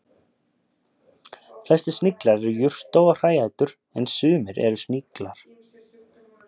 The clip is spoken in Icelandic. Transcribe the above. Flestir sniglar eru jurta- og hræætur en sumir eru sníklar.